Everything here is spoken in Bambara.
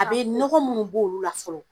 A be nɔgɔ munnu b'olu la fɔlɔ